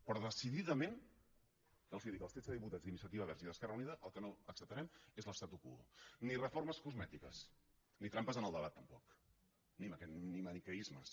però decididament els ho dic els setze diputats d’iniciativa verds i esquerra unida el que no acceptarem és l’statu quo ni reformes cosmètiques ni trampes en el debat tampoc ni maniqueismes